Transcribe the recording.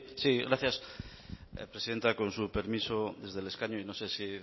sí gracias presidenta con su permiso desde el escaño y no sé si